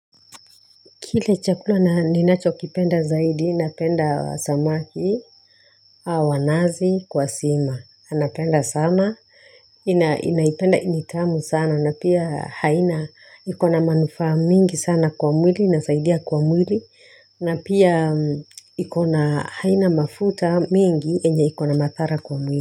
Kile chakula ninachokipenda zaidi, napenda samaki wa nazi, kwa sima. Anapenda sama, inaipenda ni tamu sana, na pia haina iko na manufaa mingi sana kwa mwili, inasaidia kwa mwili, na pia iko na, haina mafuta mingi yenye ikona madhara kwa mwili.